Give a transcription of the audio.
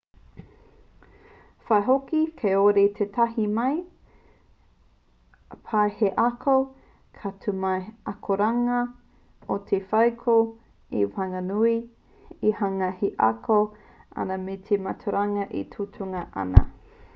waihoki kāore tētahi mea pai hei ako.ka tū mai te akoranga i te wheako i waenganui i te hunga e ako ana me te mātauranga e tukuna ana